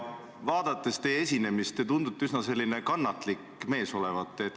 Vaadates teie esinemist, võin öelda, et te tundute üsna kannatlik mees olevat.